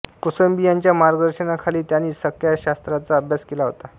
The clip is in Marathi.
कोसंबी यांच्या मार्गदर्शनाखाली त्यांनी संख्याशास्त्राचा अभ्यास केला होता